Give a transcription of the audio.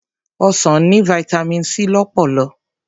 Ọsàn ní Vitamin C lọ́pọ̀lọ̀.